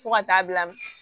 Fo ka taa bila